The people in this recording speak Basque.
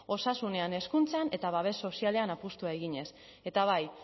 osasunean hezkuntzan eta babes sozialean apustua eginez eta bai